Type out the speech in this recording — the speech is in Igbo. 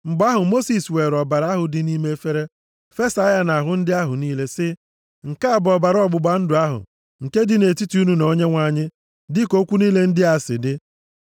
Mgbe ahụ, Mosis weere ọbara ahụ dị nʼime efere, fesaa ya nʼahụ ndị ahụ niile, sị, “Nke a bụ ọbara ọgbụgba ndụ ahụ nke dị nʼetiti unu na Onyenwe anyị, dịka okwu niile ndị a si dị.”